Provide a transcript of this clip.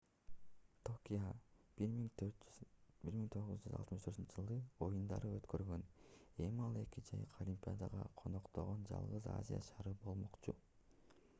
токио 1964-ж оюндарды өткөргөн эми ал эки жайкы олимпиаданы коноктогон жалгыз азия шаары болмокчу